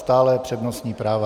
Stále přednostní práva.